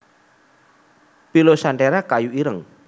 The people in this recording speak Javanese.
pilosanthera kayu ireng